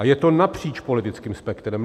A je to napříč politickým spektrem.